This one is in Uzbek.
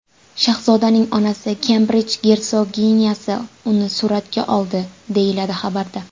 Shahzodaning onasi Kembrij gersoginyasi uni suratga oldi”, deyiladi xabarda.